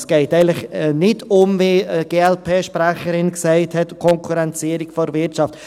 – Es geht eigentlich nicht, wie die Glp-Sprecherin gesagt hat, um Konkurrenzierung der Wirtschaft.